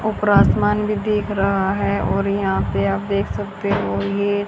ऊपर आसमान भी दिख रहा है और यहां पे आप देख सकते हो ये--